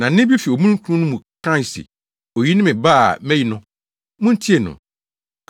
Na nne bi fi omununkum no mu kae se, “Oyi ne me Ba a mayi no. Muntie no!”